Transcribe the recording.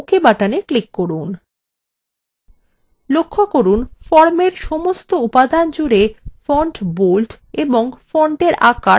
লক্ষ্য করুন ফর্মের সমস্ত উপাদান জুড়ে font bold এবং font সাইজ ৮ হয়ে গেছে